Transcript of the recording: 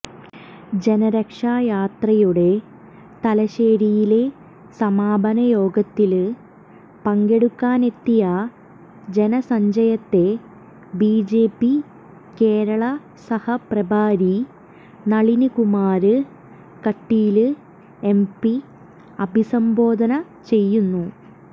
ജനരക്ഷായാത്രയുടെ തലശേരിയിലെ സമാപന യോഗത്തില് പങ്കെടുക്കാനെത്തിയ ജനസഞ്ചയത്തെ ബിജെപി കേരള സഹ പ്രഭാരി നളിന്കുമാര് കട്ടീല് എംപി അഭിസംബോധന ചെയ്യുന്നു